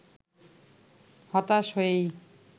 হতাশ হয়েই